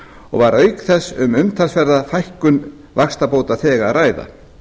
og var auk þess um umtalsverða fækkun vaxtabótaþega að ræða